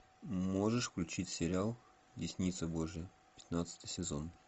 можешь включить сериал десница божья пятнадцатый сезон